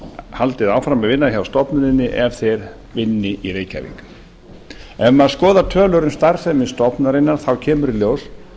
haldið áfram að vinna hjá stofnuninni ef þeir vinni í reykjavík ef maður skoðar tölur um starfsemi stofnunarinnar kemur í ljós